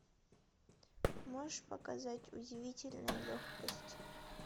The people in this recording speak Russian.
можешь показать удивительная легкость